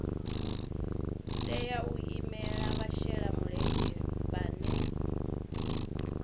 tea u imela vhashelamulenzhe vhane